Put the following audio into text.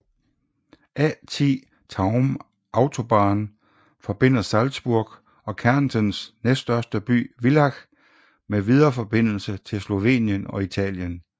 A10 Tauern Autobahn forbinder Salzburg og Kärntens næststørste by Villach med videre forbindelse til Slovenien og Italien